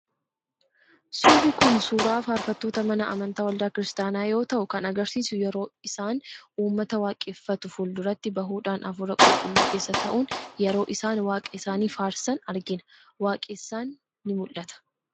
Suurri kun, suura farfattoota mana amantaa waldaa kiristiyaanaa yoo ta'u, kan agarsiisu yeroo isaan uummata waaqeffatu fuulduratti bahuudhaan hafuura qulqulluu keessa ta'uun yeroo isaan waaqa isaanii faarsan argina, waaqessan ni mul'atu.